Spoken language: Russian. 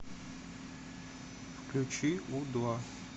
включи у два